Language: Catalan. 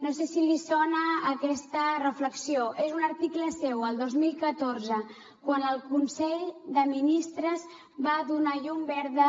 no sé si li sona aquesta reflexió és un article seu el dos mil catorze quan el consell de ministres va donar llum verda